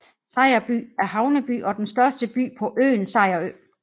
Sejerby er havneby og den største by på øen Sejerø